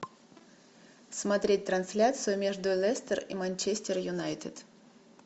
смотреть трансляцию между лестер и манчестер юнайтед